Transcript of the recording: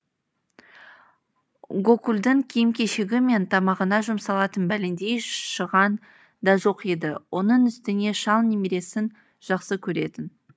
гокулдың киім кешегі мен тамағына жұмсалатын бәлендей шыған да жоқ еді оның үстіне шал немересін жақсы көретін